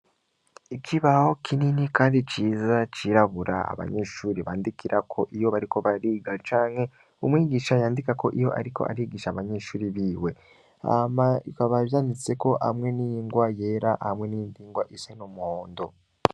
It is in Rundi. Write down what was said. Ikibaho kinini kandi ciza cirabura, abanyeshure bandikirako iyo bariko bariga, canke umwigisha yandikako iyo ariko ariko arigisha abanyeshure biwe; hama bikaba vyanditseko hamwe n'ingwa yera hamwe n'iyindi ngwa isa n'umuhondo.